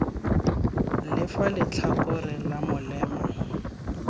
ka fa letlhakoreng la molema